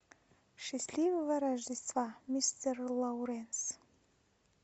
счастливого рождества мистер лоуренс